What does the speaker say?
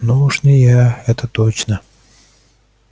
ну уж не я это точно